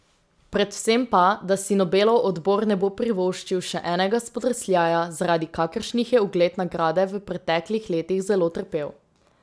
Predvsem pa, da si Nobelov odbor ne bo privoščil še enega spodrsljaja, zaradi kakršnih je ugled nagrade v preteklih letih zelo trpel.